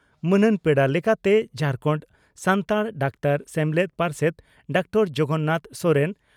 ᱢᱟᱹᱱᱟᱱ ᱯᱮᱲᱟ ᱞᱮᱠᱟᱛᱮ ᱡᱷᱟᱨᱠᱟᱱᱰ ᱥᱟᱱᱛᱟᱲ ᱰᱟᱠᱛᱟᱨ ᱥᱮᱢᱞᱮᱫ ᱯᱟᱨᱥᱮᱛ ᱰᱨᱹ ᱡᱚᱜᱚᱱᱱᱟᱛᱷ ᱥᱚᱨᱮᱱ